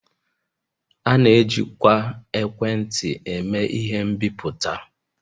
A na-ejikwa ekwentị eme ihe mbipụta